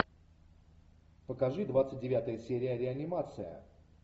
покажи двадцать девятая серия реанимация